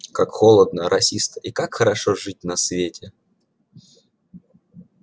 как холодно росисто и как хорошо жить на свете